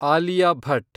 Alia Bhat